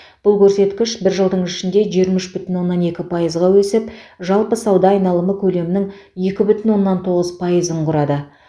бұл көрсеткіш бір жылдың ішінде жиырма үш бүтін оннан екі пайызға өсіп жалпы сауда айналымы көлемінің екі бүтін оннан тоғыз пайызын құрады